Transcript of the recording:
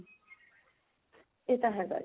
ਇਹ ਤਾਂ ਹੈਗਾ ਜੀ